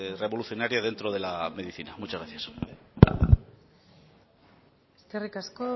revolucionaria dentro de la medicina muchas gracias eskerrik asko